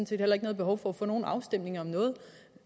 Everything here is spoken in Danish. set heller ikke noget behov for at få nogen afstemninger om noget